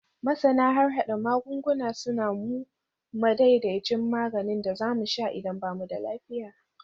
Masana harhada magunguna suna ba mu madaidaicin maganin da za mu sha idan ba mu da lafiya.